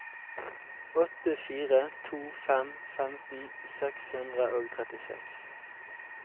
åtte fire to fem femten seks hundre og trettiseks